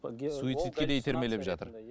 суицидке де итермелеп жатыр